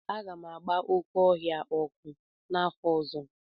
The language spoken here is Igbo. Aga m agba oke ọhịa a ọkụ n'afor ozo